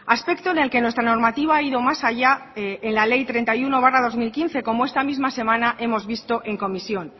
aspecto en el que nuestra normativa ha ido más allá en la ley treinta y uno barra dos mil quince como esta misma semana hemos visto en comisión